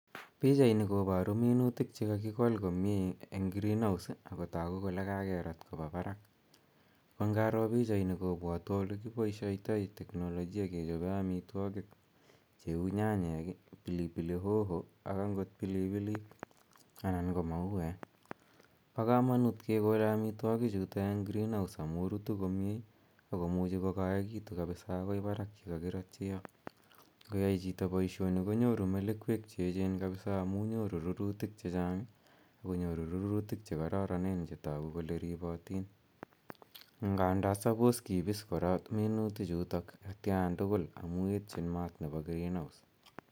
Pichaini koparu minutik che kakikol komye eng' green house ako tagu kole kakerat kopa parak. Ago ngaro pichainitok kopwatwa ole kipaishaitai teknolojia kechope amitwogik cheu nyanyek i, pilipili hoho ak angot pilipilik anan ko mauek. Pa kamanut kekole amitwogichutok eng' greenhouse amu rutu komye ako muchi kokaekitu kapisa akoi parak ya kaliratyi yo. Ngoyai chito poishoni konyoru melekwek che echen kapisa amu nyoru rurutik che chang' ak konyoru rurutik che kararanen che tagu kole ripatin. Nganda suppose kipis minutichutok atian tugul amu etchin maat nepo greenhouse.